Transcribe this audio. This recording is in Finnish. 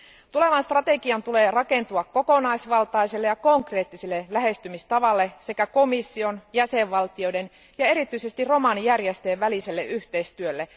Tulevan strategian tulee rakentua kokonaisvaltaiselle ja konkreettiselle lähestymistavalle sekä komission jäsenvaltioiden ja erityisesti romanijärjestöjen väliselle yhteistyölle.